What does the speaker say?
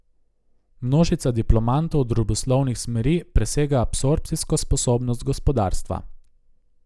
Množica diplomantov družboslovnih smeri presega absorpcijsko sposobnost gospodarstva.